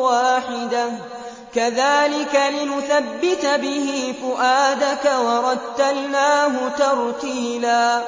وَاحِدَةً ۚ كَذَٰلِكَ لِنُثَبِّتَ بِهِ فُؤَادَكَ ۖ وَرَتَّلْنَاهُ تَرْتِيلًا